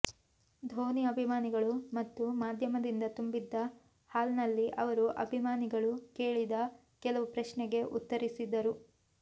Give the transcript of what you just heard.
ಧೋನಿ ಅಭಿಮಾನಿಗಳು ಮತ್ತು ಮಾಧ್ಯಮದಿಂದ ತುಂಬಿದ್ದ ಹಾಲ್ನಲ್ಲಿ ಅವರು ಅಭಿಮಾನಿಗಳು ಕೇಳಿದ ಕೆಲವು ಪ್ರಶ್ನೆಗೆ ಉತ್ತರಿಸಿದರು